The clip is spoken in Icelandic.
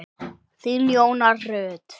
Þín, Jóna Rut.